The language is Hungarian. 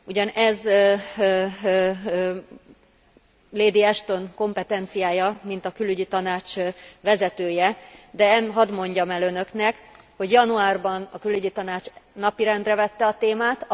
Ugyan ez Ashton bárónő kompetenciája, mint a Külügyi Tanács vezetője, de hadd mondjam el Önöknek, hogy januárban a Külügyi Tanács napirendre vette a témát.